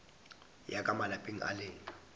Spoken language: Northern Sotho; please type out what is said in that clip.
ya ka malapeng a lena